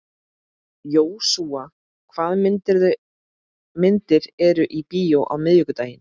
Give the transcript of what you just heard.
Jósúa, hvaða myndir eru í bíó á miðvikudaginn?